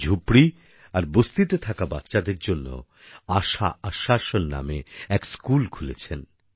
উনি ঝুপড়ি আর বস্তিতে থাকা বাচ্চাদের জন্য আশা আশ্বাসন নামে এক স্কুল খুলেছেন